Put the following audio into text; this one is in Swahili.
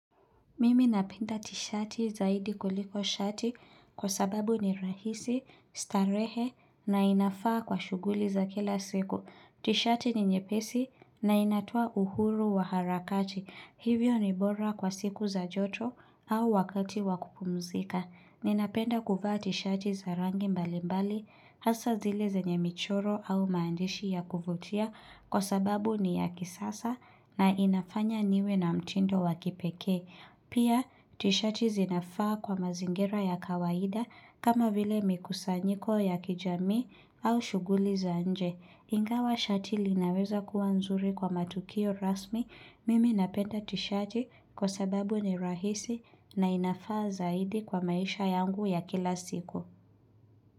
Mimi napenda tishati zaidi kuliko shati kwa sababu ni rahisi, starehe na inafaa kwa shuguli za kila siku. Tishati ni nyepesi na inatoa uhuru wa harakati. Hivyo ni bora kwa siku za joto au wakati wa kupumzika. Ninapenda kuvaa tishati za rangi mbali mbali, hasa zile zenye michoro au maandishi ya kuvutia kwa sababu ni ya kisasa na inafanya niwe na mtindo wa kipekee. Pia, tishati zinafaa kwa mazingira ya kawaida kama vile mikusanyiko ya kijamii au shughuli za nje. Ingawa shati linaweza kuwa nzuri kwa matukio rasmi, mimi napenda tishati kwa sababu ni rahisi na inafaa zaidi kwa maisha yangu ya kila siku.